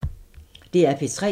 DR P3